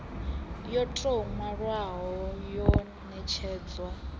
yo tou nwalwaho ya netshedzwa